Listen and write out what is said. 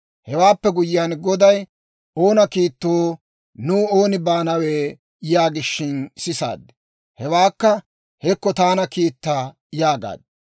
Hewaappe guyyiyaan Goday, «Oona kiittoo? Nuw oonee baanawe?» yaagishin sisaad. Hewekka, «Hekko, taana kiitta» yaagaad.